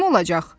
Kim olacaq?